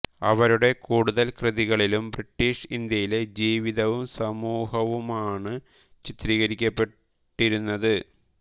അവരുടെ കൂടുതൽ കൃതികളിലും ബ്രിട്ടീഷ് ഇന്ത്യയിലെ ജീവിതവും സമൂഹവുമാണ് ചിത്രീകരിക്കപ്പെട്ടിരുന്നത്